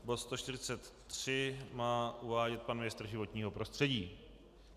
Bod 143 má uvádět pan ministr životního prostředí.